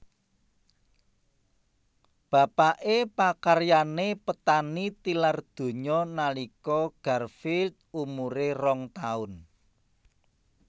Bapaké pakaryané petani tilar donya nalika Garfield umuré rong taun